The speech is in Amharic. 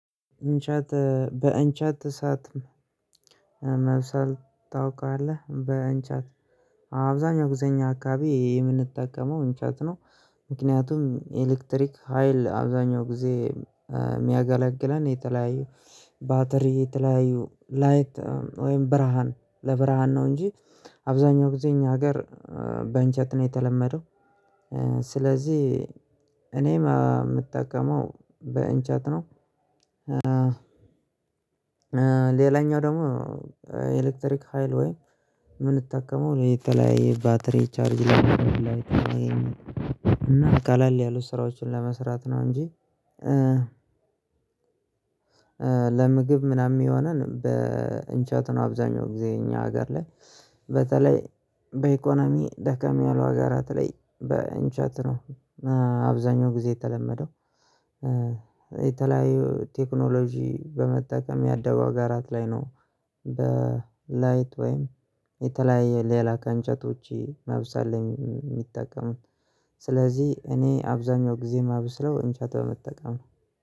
እንጨት በእንጨት እሳት መብሰል ታውቃለህ? በእንጨት አብዛኛው ግዜ እኛ አካባቢ የምንጠቀመው እንጨት ነው። ምክንያቱም ኤሌክትሪክ ሀይል አብዛኛው ጊዜ የሚያገለግለን የተለያዩ ባትሪ የተለያዩ ላይት ወይም ብርሃን ለብርሃን ነው እንጂ አብዛኛው ጊዜ እኛ ሀገር በእንጨት ነው የተለመደው። ስለዚህ እኔም የምጠቀመው በእንጨት ነው። ሌላኛው ደግሞ ኤሌክትሪክ ሀይል ወይ የምንጠቀመው ለየተለያየ ባትሪ ቻርጅ ላይ እና ቀለል ያሉ ስራዎችን ለመስራት ነው እንጂ። ለምግብ ምናምን የሚሆነን በእንጨት ነው አብዛኛው ጊዜ እኛ ሀገር ላይ በተለይ በኢኮኖሚ ደከም ያለው ሀገራት ላይ በእንጨት ነው። አብዛኛው ጊዜ የተለመደው የተለያዩ ቴክኖሎጂ በመጠቀም ያደጉ ሀገራት ላይ ነው። በላይት ወይም የተለያየ ሌላ ከእንጨቶች ማብሰል ላይ የሚጠቀሙት ስለዚህ እኔ አብዛኛው ጊዜ ማብስለው እንጨት በመጠቀም ነው